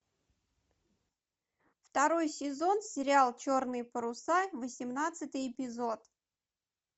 второй сезон сериал черные паруса восемнадцатый эпизод